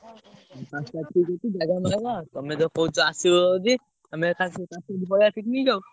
ପାଞ୍ଚ ତାରିଖ୍ ଠିକ୍ କରିଥିଲୁ ଜାଗା ତମେ ତ କହୁଛ ଆସିବ ଯଦି ତମେ ପଳେଇଆ picnic ଆଉ।